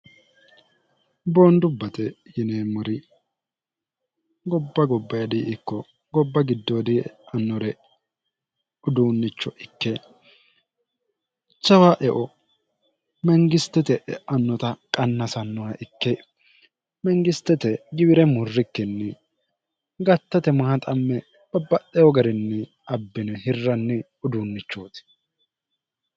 boondubbate yineemmori gobba gobba hedi ikko gobba giddoo di'annore uduunnicho ikke cawa eo mengistete e'annota qannasannoha ikke mengistete giwire murrikkinni gattate maaxamme babba'eo garinni abbine hirranni uduunnichooti